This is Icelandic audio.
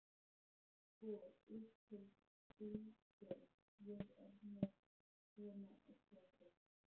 Sko, upphófst Bylgja, ég er með svona eggjastokk.